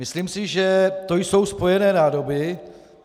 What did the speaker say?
Myslím si, že to jsou spojené nádoby.